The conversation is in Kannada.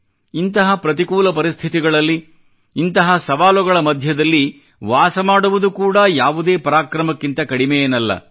ಇಂತಹ ಪ್ರತಿಕೂಲ ಪರಿಸ್ಥಿತಿಗಳಲ್ಲಿ ಇಂತಹ ಸವಾಲುಗಳ ಮಧ್ಯದಲ್ಲಿ ವಾಸ ಮಾಡುವುದು ಕೂಡಾ ಯಾವುದೇ ಪರಾಕ್ರಮಕ್ಕಿಂತ ಕಡಿಮೆ ಏನಲ್ಲ